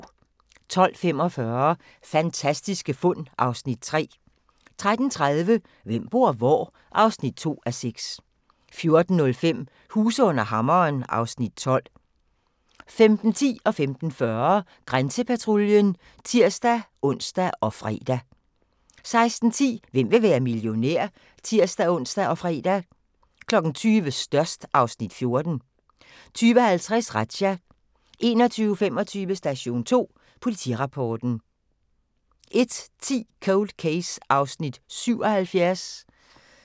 12:45: Fantastiske fund (Afs. 3) 13:30: Hvem bor hvor? (2:6) 14:05: Huse under hammeren (Afs. 12) 15:10: Grænsepatruljen (tir-ons og fre) 15:40: Grænsepatruljen (tir-ons og fre) 16:10: Hvem vil være millionær? (tir-ons og fre) 20:00: Størst (Afs. 14) 20:50: Razzia 21:25: Station 2 Politirapporten 01:10: Cold Case (77:156)